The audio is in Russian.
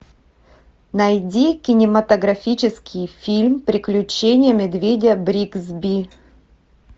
найди кинематографический фильм приключения медведя бригсби